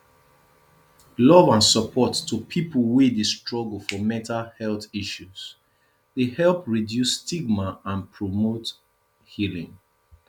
love and support to people wey dey struggle for mental health issues dey help reduce stigma and promote healing